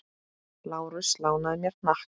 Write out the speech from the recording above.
Lárus lánaði mér hnakk.